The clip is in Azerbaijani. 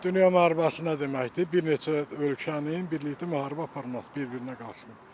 Dünya müharibəsi nə deməkdir, bir neçə ölkənin birlikdə müharibə aparması bir-birinə qarşı.